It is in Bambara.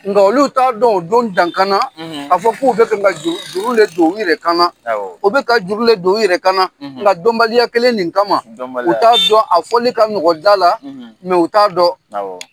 Nka olu t'a dɔn o don dankana k'a fɔ k'u bɛ fɛn ka juru de don u yɛrɛ kan na u bɛ ka juru le don u yɛrɛ kan na, nka dɔnbaliya kelen nin kama, dɔnbaliya, u t'a dɔn, a fɔli ka nɔgɔ da la, u t'a dɔn,